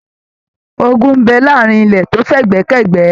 Ògún n bẹ láàrin ilẹ to f'ẹgbẹ k'ẹgbẹ.